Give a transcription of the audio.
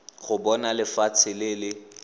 go bona lefatshe le le